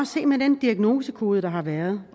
se med den diagnosekode der har været